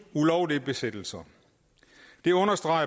ulovlige besættelser den understreger